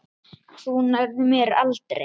Þú nærð mér aldrei!